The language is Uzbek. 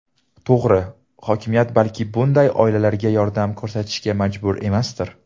To‘g‘ri, hokimiyat balki bunday oilalarga yordam ko‘rsatishga majbur emasdir.